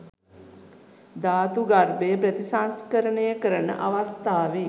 ධාතු ගර්භය ප්‍රතිසංස්කරණය කරන අවස්ථාවේ